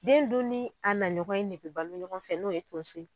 Den dun ni a na ɲɔgɔn ye negebɔ ɲɔgɔn fɛ n'o ye tonso ye.